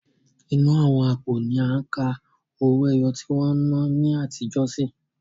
Inú àwọn àpò ni à ń ka owó ẹyọ tí wọ́n n ná ní àtijó sí.